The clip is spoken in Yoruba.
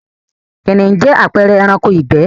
Kìnìhún jẹ́ àpẹẹre ẹranko ìgbẹ́